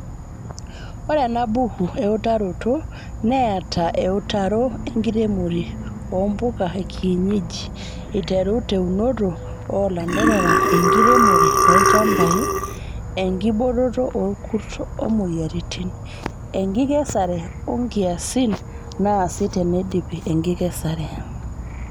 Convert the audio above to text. Ore enabuku eutaroto neata eutaroo enkiremore oo mpuka ekienyeji aiteru teunoto oo lanterera, enkireromore olchambai, enkiboototo orkurt omoyiaritin, enkikesare oo nkiasin naasi teneidipi enkikesare.